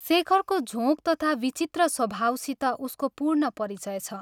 शेखरको झोंक तथा विचित्र स्वभावसित उसको पूर्ण परिचय छ।